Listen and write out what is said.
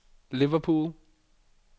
Liverpool